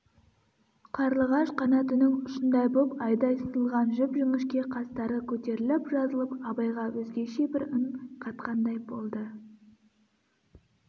қарлығаш қанатының ұшындай боп айдай сызылған жіп-жіңішке қастары көтеріліп-жазылып абайға өзгеше бір үн қатқандай болды